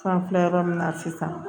An filɛ yɔrɔ min na sisan